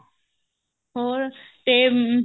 ਹੋਰ ਤੇ ਅਮ